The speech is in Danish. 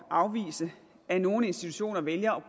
at afvise at nogle institutioner vælger